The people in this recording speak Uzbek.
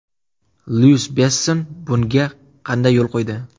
Lyuk Besson bunga qanday yo‘l qo‘ydi?